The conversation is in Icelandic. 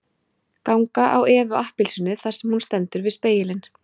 Ganga á Evu appelsínu þar sem hún stendur við spegilinn